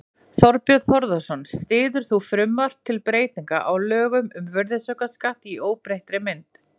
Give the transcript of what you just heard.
Þorbjörn Þórðarson: Styður þú frumvarp til breytinga á lögum um virðisaukaskatt í óbreyttri mynd?